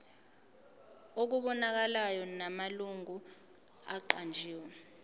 okubonakalayo namalungu aqanjiwe